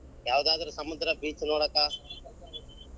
ಯಾವದಾದರೂ ಸಮುದ್ರ beach ನೋಡಾಕ.